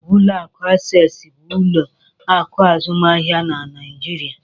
Ụlọ akụ Access bụ ụlọ akụ azụmahịa na Naijiria.